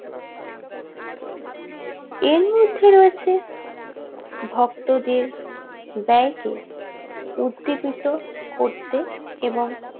এর মধ্যে রয়েছে ভক্ত দিয়ে ব্যয় কে উদ্দীপিত করতে এবং